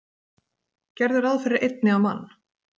Gerðu ráð fyrir einni á mann.